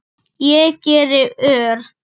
Ég geri ör